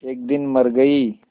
एक दिन मर गई